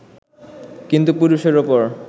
কিন্তু পুরুষের ওপর